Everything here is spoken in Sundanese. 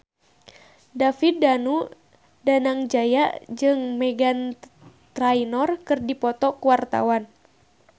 David Danu Danangjaya jeung Meghan Trainor keur dipoto ku wartawan